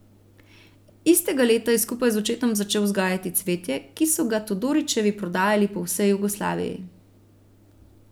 Istega leta je skupaj z očetom začel vzgajati cvetje, ki so ga Todorićevi prodajali po vsej Jugoslaviji.